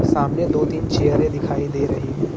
सामने दो तीन चेयरे दिखाई दे रही हैं।